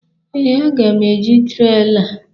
Ee, aga m eji trela.